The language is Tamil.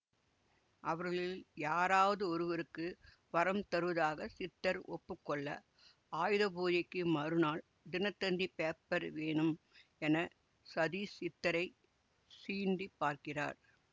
அவர்களில் யாராவது ஒருவருக்கு வரம் தருவதாக சித்தர் ஒப்பு கொள்ள ஆயுத பூஜைக்கு மறுநாள் தினத்தந்தி பேப்பர் வேணும் என சதீஷ் சித்தரை சீண்டிப் பார்க்கிறார்